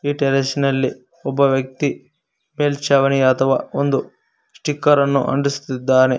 ಈ ಟೆರೆಸ್ ನಲ್ಲಿ ಒಬ್ಬ ವ್ಯಕ್ತಿ ಮೇಲ್ಚಾವಣಿ ಅಥವಾ ಒಂದು ಸ್ಟಿಕರ್ ಅನ್ನು ಅಂಟಿಸುತ್ತಿದ್ದಾನೆ.